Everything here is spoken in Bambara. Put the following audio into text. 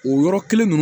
O yɔrɔ kelen ninnu